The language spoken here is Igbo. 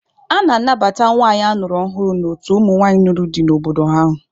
A na-anabata nwanyị a nụrụ ọhụrụ n'otu ụmụnwaanyị nụrụ di n'obodo ahụ.